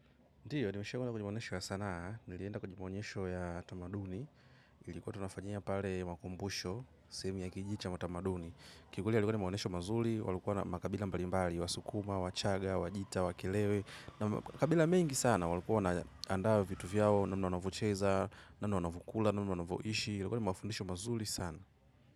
Ndiyo, nimeshe kuna kujimonesho ya sanaa, nilienda kwejimonesho ya tamaduni, ilikuwa tunafajia pale makumbusho, semi ya kijicha matamaduni. Kwa kweli yalikuwa ni maonyesho mazuri walikuja makabila mbalimbali wasukuma wachaga wagita wakelele makabila mengi sana walikuwa wanaandaa vitu zao wanavyo cheza namna wanavokula namna wavoishi ilikuwa ni mafundisho mazuli sana.